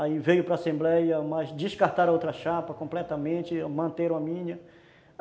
Aí veio para Assembleia, mas descartaram a outra chapa completamente, mantiveram a minha.